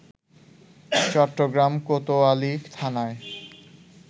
চট্টগ্রাম কোতোয়ালি থানায়